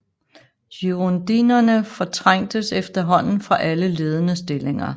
Girondinerne fortrængtes efterhånden fra alle ledende stillinger